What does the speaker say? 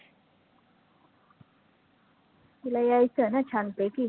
तीला यायचं ना छान पैकी